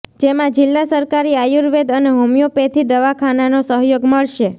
જેમાં જિલ્લા સરકારી આયુર્વેદ અને હોમિયોપેથી દવાખાનાનો સહયોગ મળશે